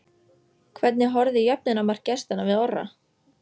Hvernig horfði jöfnunarmark gestanna við Orra?